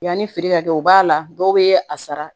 Yanni feere ka kɛ u b'a la dɔw bɛ a sara